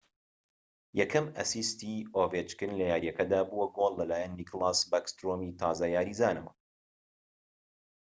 یەکەم ئەسیستی ئۆڤێچکن لە یاریەکەدا بووە گۆڵ لەلایەن نیکلاس باکسترۆمی تازە یاریزانەوە